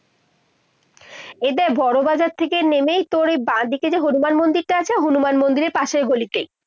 এ যে বড় বাজার থেকে নেমেই তোর এই বাদিকেই যে হনুমান মন্দিরটা আছে, হনুমান মন্দিররের পাশের গলিতেই